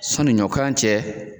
Sɔnni ɲɔkan cɛ